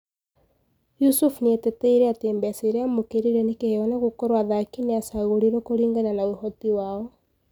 Yusuf nieteteire ati mbeca iria amũkirire ni kiheo na gũkorwo athaki niacagũrirwo kũrigana na ũhoti wao.